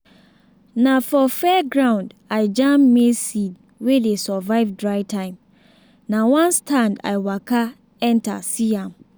na for fairground i jam maize seed wey dey survive dry time na one stand i waka enter see am.